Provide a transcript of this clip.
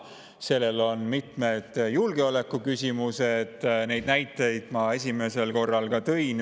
Siin on mitmed julgeolekuküsimused, neid näiteid ma esimesel korral ka tõin.